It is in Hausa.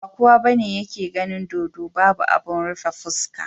Ba kowa bane yake ganin dodo Babu abun rufe fuska.